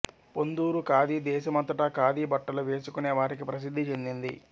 పొందూరు ఖాదీ దేశమంతటా ఖాదీ బట్టలు వేసుకునే వారికి ప్రసిద్ధి చెందింది